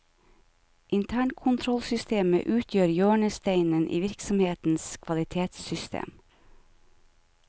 Internkontrollsystemet utgjør hjørnesteinen i virksomhetens kvalitetssystem.